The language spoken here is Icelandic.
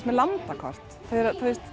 með landakort þau eru